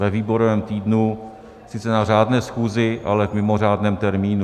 Ve výborovém týdnu, sice na řádné schůzi, ale v mimořádném termínu.